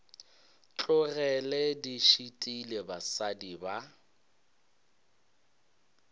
tlogele di šitile basadi ba